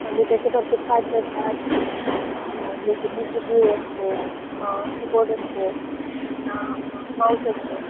कम्प्युटरचे भरपूर पार्टस असतात. अ जस कि सीपीयु असतो अ कीबोर्ड असतो पुन्हा अ माउस असतो.